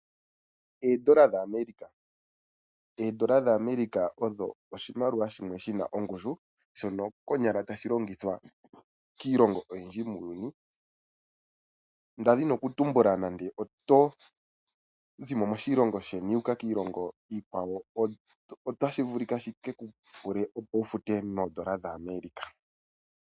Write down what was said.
Oondola dhaAmerika. Oondola dhaAmerika odho oshimaliwa shono shi na ongushu, konyala tashi longithwa kiilongo oyindji muuyuni, nda dhini okutumbula nande oto zi mo moshilongo sheni wuuka kiilongo iikwawo, otashi vulika shi ke ku pule opo wu fute moondola dhaAmerika.